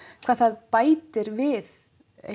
hvað það bætir við